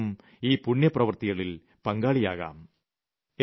നമുക്കും ഈ പുണ്യപ്രവർത്തിയിൽ പങ്കാളിയാവാം